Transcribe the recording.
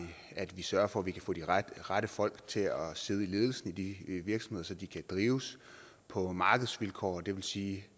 at vi sørger for at vi kan få de rette rette folk til at sidde i ledelsen i de virksomheder så de kan drives på markedsvilkår det vil sige